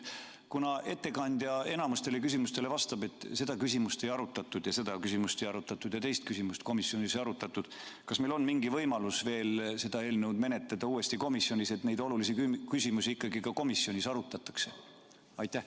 Kuna ettekandja enamikule küsimustele vastab, et seda küsimust komisjonis ei arutatud ja teist küsimust ei arutatud, siis küsin: kas meil on mingi võimalus veel seda eelnõu menetleda uuesti komisjonis, nii et neid olulisi küsimusi ikkagi ka komisjonis arutataks?